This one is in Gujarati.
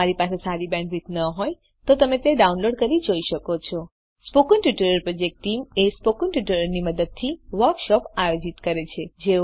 જો તમારી પાસે સારી બેન્ડવિડ્થ ન હોય તો તમે ડાઉનલોડ કરી તે જોઈ શકો છો spoken tutorial project team spoken ટ્યુટોરીયલોની મદદથી વર્કશોપ આયોજિત કરે છે